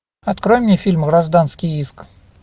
открой мне фильм гражданский иск